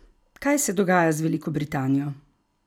Kaj se dogaja z Veliko Britanijo?